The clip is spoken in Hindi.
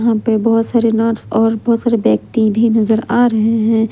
यहां पे बहोत सारे नर्स और बहोत सारे व्यक्ति भी नजर आ रहे हैं।